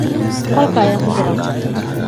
qolka ayaan ku jiraa